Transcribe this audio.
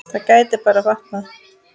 Það gæti bara batnað!